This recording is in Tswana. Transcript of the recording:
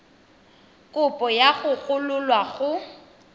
kopo ya go gololwa go